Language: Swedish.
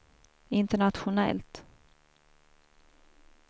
internationellt